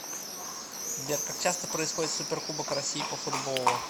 сбер как часто происходит суперкубок россии по футболу